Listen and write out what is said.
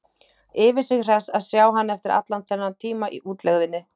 Yfir sig hress að sjá hann eftir allan þennan tíma í útlegðinni.